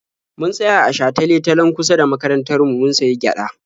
Mun tsaya a shatale-talen kusa da makarantar mu mun sayi gyaɗa.